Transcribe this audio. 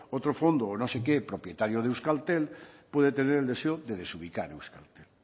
otro fondo o no sé qué propietario de euskaltel puede tener el deseo de desubicar euskaltel